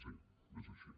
sí és així